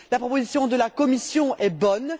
La proposition de la Commission est bonne